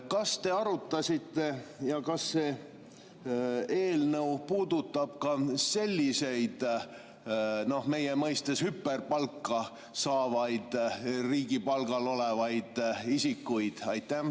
Kas te arutasite ja kas see eelnõu puudutab ka selliseid meie mõistes hüperpalka saavaid riigi palgal olevaid isikuid?